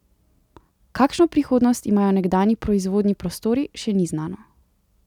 Kakšno prihodnost imajo nekdanji proizvodni prostori, še ni znano.